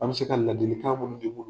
An be se ka ladilikan munnu di munnu